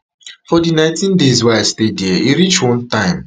for di nineteen days wey i stay dia e reach one time